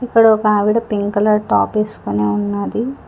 ఇక్కడ ఒక ఆవిడ పింకు కలర్ టాప్ వేసుకుని ఉన్నది.